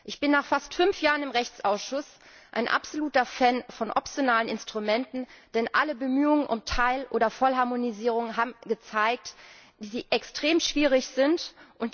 Ich bin nach fast fünf Jahren im Rechtsausschuss ein absoluter Fan von optionalen Instrumenten, denn alle Bemühungen um Teil oder Vollharmonisierung haben sich als extrem schwierig erwiesen.